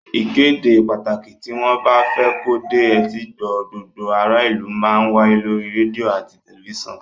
Ìkéde pàtàkì tí wọ́n bá fẹ́ kó dé etígbọ̀ọ́ gbogbo ará ìlú má ń wáyé lórí rédíò àti tẹ̀lifísàn